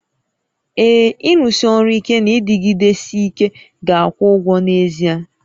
Ee, ịrụsi ọrụ ike na ịdịgidesi ike ga-akwụ ụgwọ n'ezie